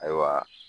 Ayiwa